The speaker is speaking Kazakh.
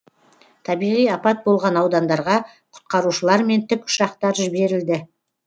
табиғи апат болған аудандарға құтқарушылар мен тікұшақтар жіберілді